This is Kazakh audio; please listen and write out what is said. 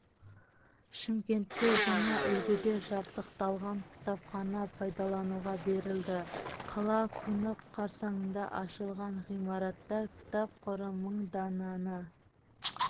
шымкентте жаңа үлгіде жабдықталған кітапхана пайдалануға берілді қала күні қарсаңында ашылған ғимаратта кітап қоры мың дананы